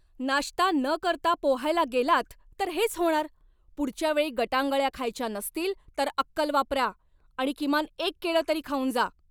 नाश्ता न करता पोहायला गेलात तर हेच होणार. पुढच्या वेळी गटांगळ्या खायच्या नसतील तर अक्कल वापरा आणि किमान एक केळं तरी खाऊन जा.